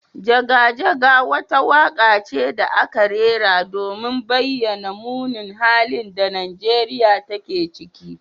Jaga jaga wata waka ce da aka rera domin bayyana munin halin da Nigeriya take ciki.